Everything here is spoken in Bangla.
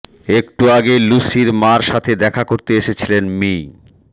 একটু আগে লুসির মার সাথে দেখা করতে এসেছিলেন মি